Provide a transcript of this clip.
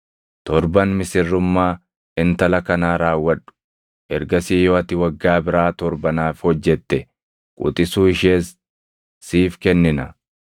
Torban misirrummaa intala kanaa raawwadhu; ergasii yoo ati waggaa biraa torba naaf hojjette quxisuu ishees siif kennina.”